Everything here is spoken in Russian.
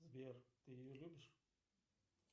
сбер ты ее любишь